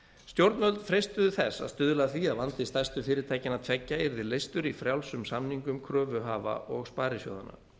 stjórnvöld freistuðu þess að stuðla að því að vandi stærstu fyrirtækjanna tveggja yrði leystur í frjálsum samningum kröfuhafa og sparisjóðanna